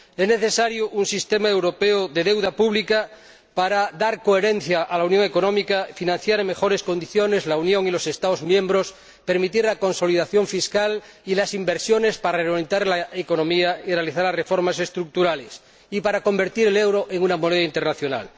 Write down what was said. Es necesario un sistema europeo de deuda pública para dar coherencia a la unión económica, financiar en mejores condiciones la Unión y los Estados miembros, permitir la consolidación fiscal y las inversiones para reglamentar la economía y realizar las reformas estructurales, y para convertir el euro en una moneda internacional.